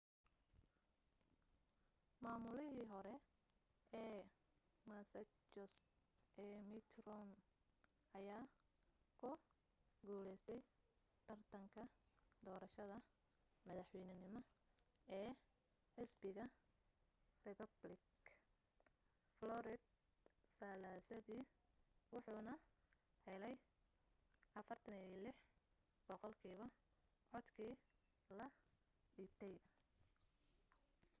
maamulihii hore ee massachusett ee mitt romney ayaa ku guulaystay tartarka doorashada madaxweynenimo ee xisbiga republican florida salaasadii wuxuuna helay 46 boqolkiiba codkii la dhiibtay